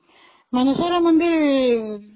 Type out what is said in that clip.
ମାନେଶ୍ଵର ମନ୍ଦିର